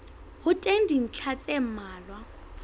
ho teng dintlha tse mmalwa